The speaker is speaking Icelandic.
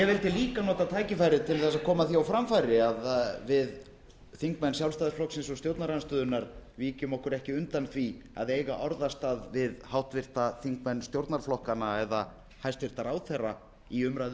ég vildi líka nota tækifærið til að koma því á framfæri að við þingmenn sjálfstæðisflokksins og stjórnarandstöðunnar víkjum okkur ekki undan því að eiga orðastað við háttvirtir þingmenn stjórnarflokkanna eða hæstvirtur ráðherra við umræðu